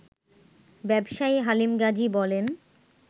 ব্যবসায়ী হালিম গাজী বলেন